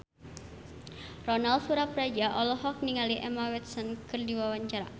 Ronal Surapradja olohok ningali Emma Watson keur diwawancara